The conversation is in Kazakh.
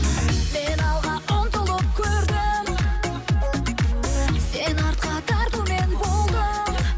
мен алға ұмтылып көрдім сен артқа тартумен болдың